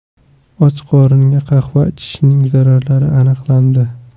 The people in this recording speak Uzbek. Och qoringa qahva ichishning zararlari aniqlandi.